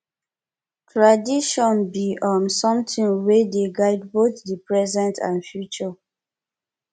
tradition bi um somtin wey dey guide both di present and future